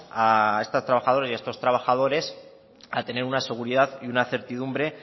a estas trabajadores y estos trabajadores a tener una seguridad y una certidumbre